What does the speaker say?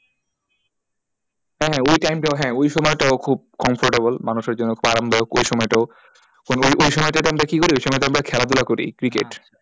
হ্যাঁ হ্যাঁ ওই time টাও হ্যাঁ ওই সময় টাও খুব comfortable মানুষের জন্য আরামদায়ক ওই সময়টাও ওই সময়টাই আমরা কি করি ওই সময়টা আমরা খেলাধূলা করি cricket